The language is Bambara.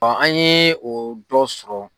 an ye o dɔ sɔrɔ